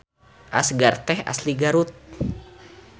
Asgar teh asli Garut